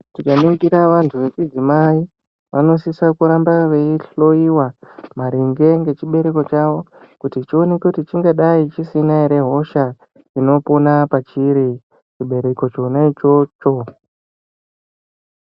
Tikaningira vantu vechidzimai vanosisa kuramba vei hloiwa maringe ngechibereko chavo kuti chioneke kuti chingai dai chisina ere hosha inopona pachiri chebereko chona ichocho.